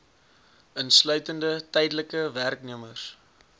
insluitende tydelike werknemers